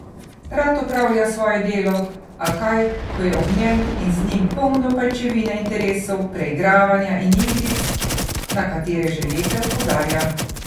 Rad opravlja svoje delo, a kaj ko je ob njem in z njim polno pajčevine interesov, preigravanja in igric, na katere že leta opozarja.